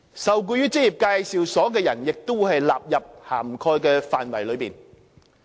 受僱於職業介紹所的人，也會納入涵蓋範圍內。